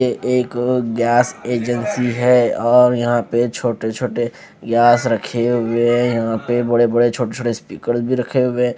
ये एक gas agency है और यहां पर छोटे छोटे गैस रखे हुए हैं यहां पे बड़े बड़े छोटे छोटे स्पीकर्स भी रखे हुए।